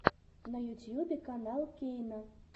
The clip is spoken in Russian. на ютьюбе канал кейна